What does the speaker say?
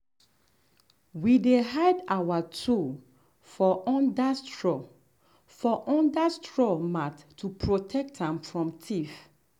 we dey hide our tool for under straw for under straw mat to protect am from thief.